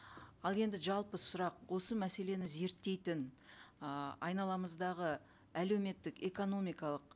ал енді жалпы сұрақ осы мәселені зерттейтін ы айналамыздағы әлеуметтік экономикалық